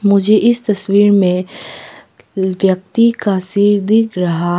मुझे इस तस्वीर में व्यक्ति का सिर दिख रहा--